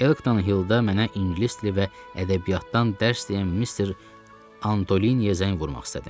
Elkton Hilldə mənə ingilis dili və ədəbiyyatdan dərs deyən Mister Antoliniyə zəng vurmaq istədim.